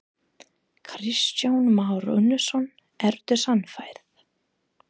Kristján Már Unnarsson: Ertu sannfærð?